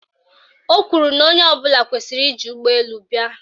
Ọ kwuru na onye ọbụla kwesiri iji ụgbọelu bịa